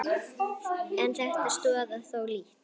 En þetta stoðar þó lítt.